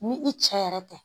Ni i cɛ yɛrɛ tɛ